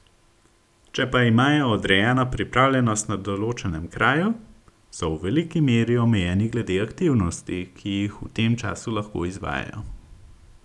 Če pa imajo odrejeno pripravljenost na določenem kraju, so v veliki meri omejeni glede aktivnosti, ki jih v tem času lahko izvajajo.